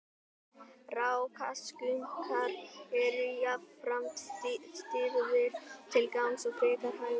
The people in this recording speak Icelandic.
rákaskunkar eru jafnframt stirðir til gangs og frekar hægfara